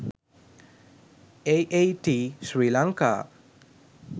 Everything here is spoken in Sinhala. aat sri lanka